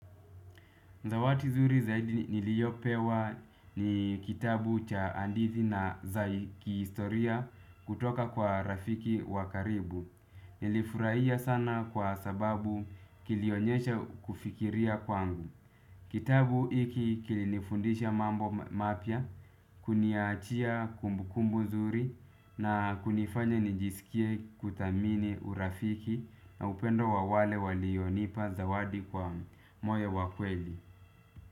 Zawadi nzuri zaidi niliyopewa ni kitabu cha hadithi na za kihistoria, kutoka kwa rafiki wa karibu. Nilifurahia sana kwa sababu kilionyesha kufikiria kwangu. Kitabu hiki kilinifundisha mambo mapya, kuniachia kumbukumbu nzuri na kunifanya nijisikie kuthamini urafiki na upendo wa wale walionipa zawadi kwa moyo wa kweli.